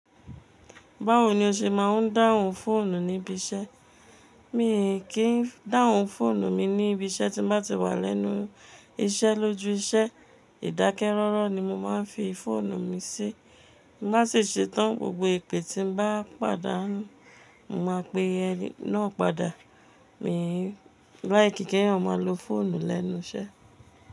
Báwo ni o ṣe máa ń dáhùn fóònù níbi iṣẹ́? Mì kí ń dáhùn fóònù mi níbi iṣẹ́ tí bá ti wà lẹ́nu iṣẹ́, lójú iṣẹ́, ìdákẹ́ rọ́rọ́ ni mo máa ń fi fóònù mi sí. N bá sì ṣetán gbogbo ìpè tí ń bá pàdánù, mo máa pe ẹni náà padà. Mì like kí éeyàn máa lo fóònù lẹ́nu iṣẹ́